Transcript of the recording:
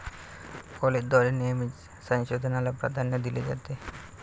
कॉलेजद्वारे नेहमीच संशोधनाला प्राधान्य दिले जाते.